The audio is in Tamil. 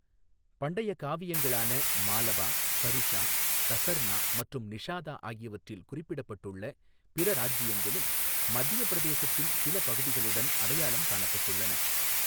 பண்டைய காவியங்களான மாலவா, கருஷா, தசர்ணா மற்றும் நிஷாதா ஆகியவற்றில் குறிப்பிடப்பட்டுள்ள பிற ராஜ்ஜியங்களும் மத்தியப் பிரதேசத்தின் சில பகுதிகளுடன் அடையாளம் காணப்பட்டுள்ளன.